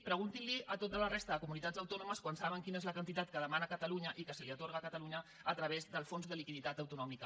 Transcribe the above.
preguntin a tota la resta de comunitats autònomes quan saben quina és la quantitat que demana catalunya i que se li atorga a catalunya a través del fons de liquiditat autonòmic